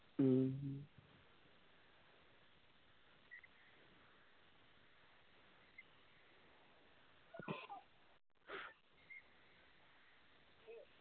മ്മ്